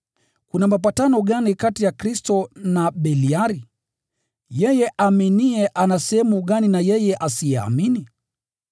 Kuna mapatano gani kati ya Kristo na Beliari? Yeye aaminiye ana sehemu gani na yeye asiyeamini?